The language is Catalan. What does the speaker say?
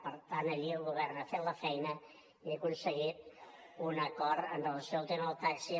per tant allí el govern ha fet la feina i ha aconseguit un acord amb relació al tema del taxi